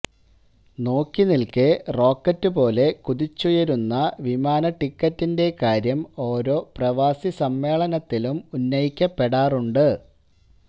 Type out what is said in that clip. നോക്കിനിൽക്കേ rocket പോലെ കുതിച്ചുയരുന്ന വിമാനടിക്കറ്റിന്റെ കാര്യം ഓരോ പ്രവാസി സമ്മേളനത്തിലും ഉന്നയിക്കപ്പെടാറുണ്ട്